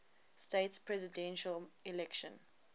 states presidential election